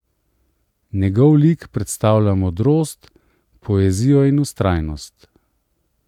Njegov lik predstavlja modrost, poezijo in vztrajnost.